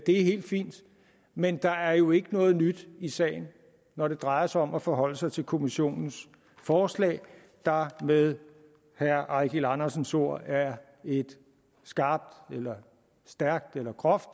helt fint men der er jo ikke noget nyt i sagen når det drejer sig om at forholde sig til kommissionens forslag der med herre eigil andersens ord er et skarpt eller stærkt eller groft